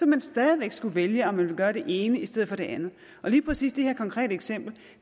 man stadig væk skulle vælge om man vil gøre det ene i stedet for det andet og lige præcis det her konkrete eksempel